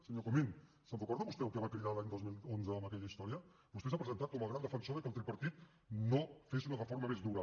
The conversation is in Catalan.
senyor comín se’n recorda vostè del que va cridar l’any dos mil onze amb aquella història vostè s’ha presentat com el gran defensor que el tripartit no fes una reforma més dura